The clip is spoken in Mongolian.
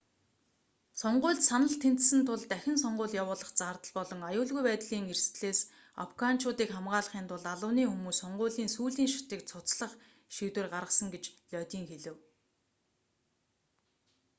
сонгуульд санал тэнцсэн тул дахин сонгууль явуулах зардал болон аюулгүй байдлын эрсдлээс афганчуудыг хамгаалахын тулд албаны хүмүүс сонгуулийн сүүлийн шатыг цуцлах шийдвэр гаргасан гэж лодин хэлэв